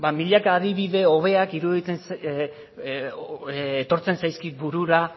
milaka adibide hobeak etortzen zaizkit burura